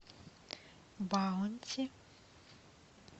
баунти